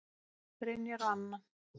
Brynjar og Anna.